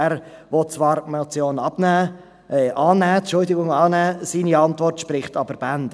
Er will zwar die Motion annehmen, seine Antwort spricht aber Bände: